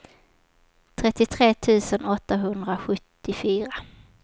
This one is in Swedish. trettiotre tusen åttahundrasjuttiofyra